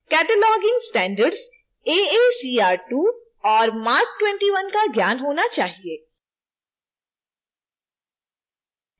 cataloging standards aacr2 और marc21 का ज्ञान होना चाहिए